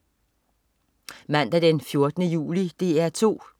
Mandag den 14. juli - DR 2: